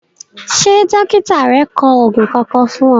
Ṣé dọ́kítà rẹ kọ òògùn Kankan fún ọ?